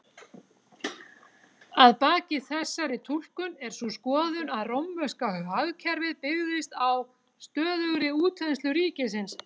Að baki þessari túlkun er sú skoðun að rómverska hagkerfið byggðist á stöðugri útþenslu ríkisins.